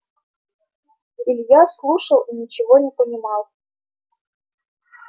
илья слушал и ничего не понимал